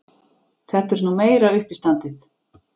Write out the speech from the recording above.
Þetta er nú meira uppistandið!